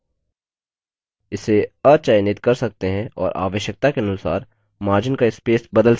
इसे अचयनित कर सकते हैं और आवश्यकता के अनुसार margin का स्पेस बदल सकते हैं